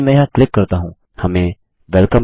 यदि मैं यहाँ क्लिक करता हूँ हमें Welcome